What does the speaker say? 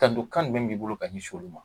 Tanto kan jumɛn b'i bolo ka ŋɛsin olu ma